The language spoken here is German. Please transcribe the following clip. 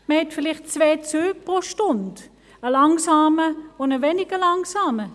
Man hat vielleicht zwei Züge pro Stunde, einen langsamen und einen weniger langsamen.